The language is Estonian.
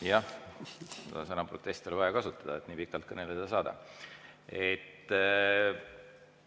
Jah, seda sõna "protest" oli vaja kasutada, et nii pikalt kõneleda saada.